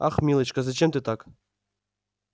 ах милочка зачем ты так